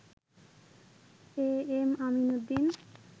am Amin Uddin